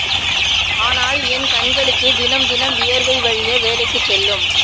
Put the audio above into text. ஆனால் என் கண்களுக்கு தினம் தினம் வியர்வை வழிய வேலைக்குச் செல்லும்